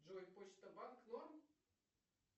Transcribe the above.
джой почта банк норм